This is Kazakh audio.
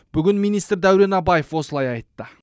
бүгін министр дәурен абаев осылай айтты